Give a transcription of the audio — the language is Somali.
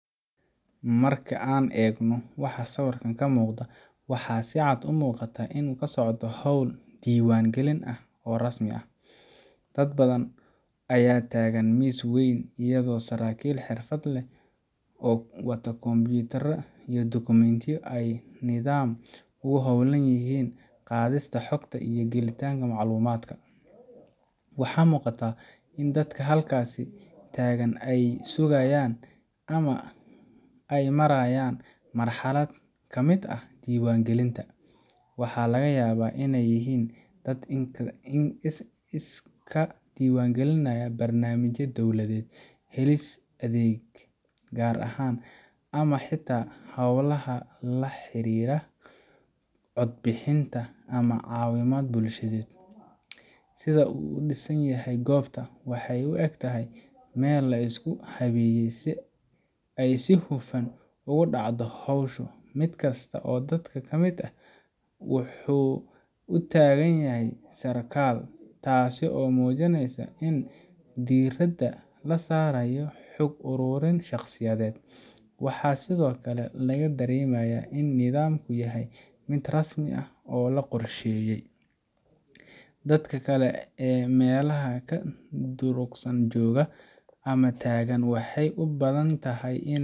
Marka aan eegno waxa sawirka ka muuqda, waxaa si cad u muuqata in uu socdo hawl diiwaangelin ah oo rasmi ah. Dad badan ayaa taagan miis weyn, iyadoo saraakiil xirfad leh oo wata kombiyuutarro iyo dukumiintiyo ay si nidaamsan ugu hawlan yihiin qaadista xogta ama gelinta macluumaad. Waxaa muuqata in dadka halkaasi taagan ay sugayaan ama ay marayaan marxalad ka mid ah diiwaangelinta waxa laga yaabaa inay yihiin dad iska diiwaangelinaya barnaamij dowladeed, helis adeeg gaar ah, ama xitaa hawlaha la xiriira codbixinta ama caawimo bulshaded. Sida uu u dhisan yahay goobta, waxay u egtahay meel la isku habeeyey si ay si hufan ugu dhacdo howshu mid kasta oo dadka ka mid ah wuxuu u taagan sarkaal, taasoo muujinaysa in diiradda la saarayo xog ururin shaqsiyeed. Waxaa sidoo kale laga dareemayaa in nidaamku yahay mid rasmi ah oo la qorsheeyey, Dadka kale ee meelaha ka durugsan jooga ama taagan waxay u badan tahay .